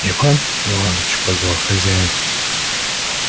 иван иваныч позвал хозяин